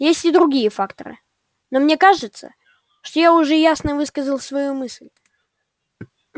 есть и другие факторы но мне кажется что я уже ясно высказал свою мысль